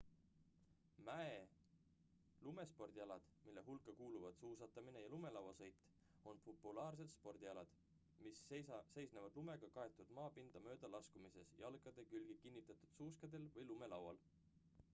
mäe-lumespordialad mille hulka kuuluvad suusatamine ja lumelauasõit on populaarsed spordialad mis seisnevad lumega kaetud maapinda mööda laskumises jalgade külge kinnitatud suuskadel või lumelaual